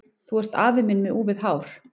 Þú ert afi minn með úfið hár!